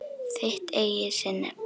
Þitt eigið sinnep!